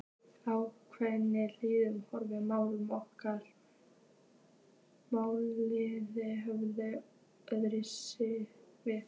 Á lághitasvæðum horfa málin nokkuð öðruvísi við.